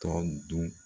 Tɔ dun